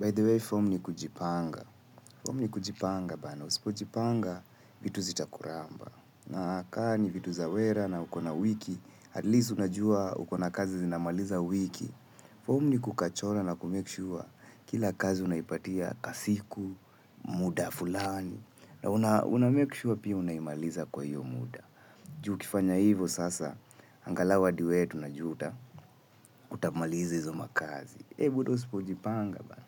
By the way, fom ni kujipanga. Fom ni kujipanga, bana. Usipo jipanga, vitu zita kuramba. Na kani, vitu zawera na ukona wiki, at least unajua ukona kazi zinamaliza wiki. Fom ni kukachora na ku make sure kila kazi unaipatia kasiku, muda, fulani. Na una make sure pia unaimaliza kwa hio muda. Juu ukifanya hivo sasa, angalau hadi we tunajua utamaliza hizo makazi. Hei, buda usipo jipanga, bana.